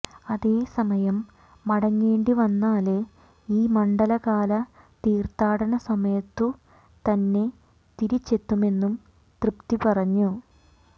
അതേസമയം മടങ്ങേണ്ടി വന്നാല് ഈ മണ്ഡലകാല തീര്ത്ഥാടന സമയത്തു തന്നെ തിരിച്ചെത്തുമന്നും തൃപ്തി പറഞ്ഞു